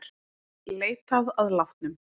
Leitað að látnum